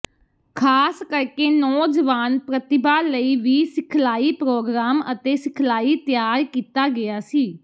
ਖ਼ਾਸ ਕਰਕੇ ਨੌਜਵਾਨ ਪ੍ਰਤਿਭਾ ਲਈ ਵੀ ਸਿਖਲਾਈ ਪ੍ਰੋਗਰਾਮ ਅਤੇ ਸਿਖਲਾਈ ਤਿਆਰ ਕੀਤਾ ਗਿਆ ਸੀ